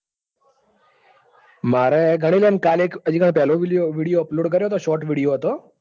મારે ગણીલોને કાલે એક પેલો video video upload કર્યો હતો. short video હતો